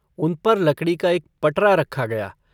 उन पर लकड़ी का एक पटरा रखा गया।